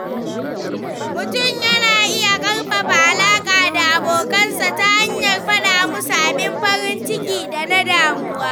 Mutum yana iya ƙarfafa alaƙa da abokansa ta hanyar faɗa musu abin farin ciki da na damuwa.